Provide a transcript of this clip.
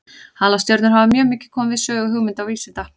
Halastjörnur hafa mjög komið við sögu hugmynda og vísinda.